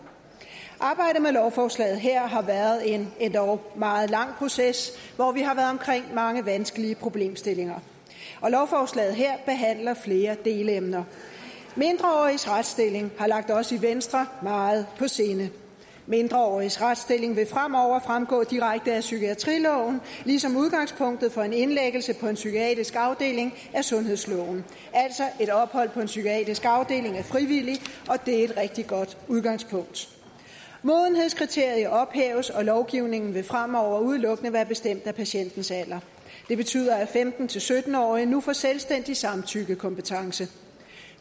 arbejdet med lovforslaget her har været en endog meget lang proces hvor vi har været omkring mange vanskelige problemstillinger og lovforslaget her behandler flere delemner mindreåriges retsstilling har ligget os i venstre meget på sinde mindreåriges retsstilling vil fremover fremgå direkte af psykiatriloven ligesom udgangspunktet for en indlæggelse på en psykiatrisk afdeling er sundhedsloven altså er et ophold på en psykiatrisk afdeling frivillig og det er et rigtig godt udgangspunkt modenhedskriteriet ophæves og lovgivningen vil fremover udelukkende være bestemt af patientens alder det betyder at femten til sytten årige nu får selvstændig samtykkekompetence